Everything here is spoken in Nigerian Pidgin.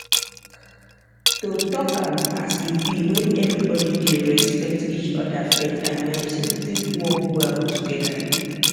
to talk am as e be when everybody dey respect each other faith and medicine fit work well together